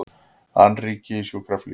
Annríki í sjúkraflugi